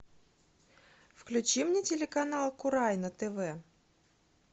включи мне телеканал курай на тв